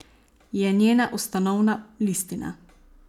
Je njena ustanovna listina.